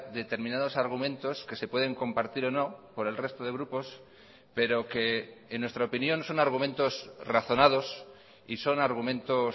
determinados argumentos que se pueden compartir o no por el resto de grupos pero que en nuestra opinión son argumentos razonados y son argumentos